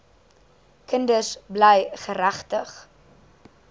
kinders bly geregtig